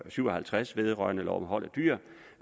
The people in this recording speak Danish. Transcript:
syv og halvtreds vedrørende lov om hold af dyr